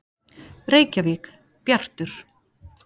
Reykjavík: Bjartur.